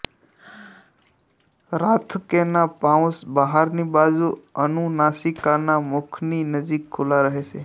રાથકેના pouch બહારની બાજુ અનુનાસિકાના મુખની નજીક ખુલ્લા રહે છે